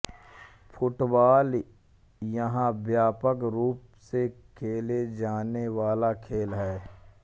football यहाँ व्यापक रूप से खेले जाने वाला खेल है